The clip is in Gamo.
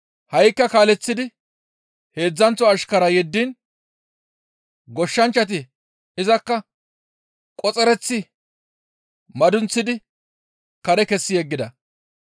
Ha7ikka kaaleththidi heedzdzanththo ashkaraa yeddiin goshshanchchati izakka qoxereththi madunththidi kare kessi yeggida.